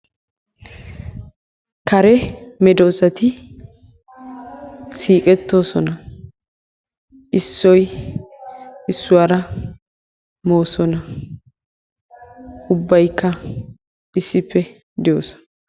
Kare medoosti siiqetoosona issoy issuwaara moosona. ubbaykka issippe doosona